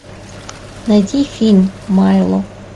найти фильм майло